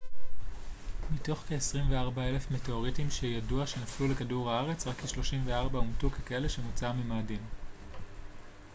מתוך כ-24,000 מטאוריטים שידוע שנפלו לכדור הארץ רק כ-34 אומתו ככאלה שמוצאם ממאדים